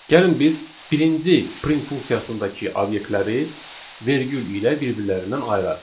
Gəlin biz birinci print funksiyasındakı obyektləri vergül ilə bir-birlərindən ayıraq.